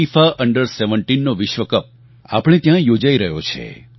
FIFA under 17નો વિશ્વકપ આપણે ત્યાં યોજાઈ રહ્યો છે